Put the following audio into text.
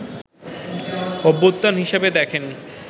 অভ্যুত্থান হিসেবে দেখেন